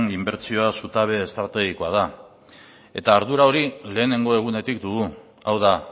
inbertsioa zutabe estrategikoa da eta ardura hori lehenengo egunetik dugu hau da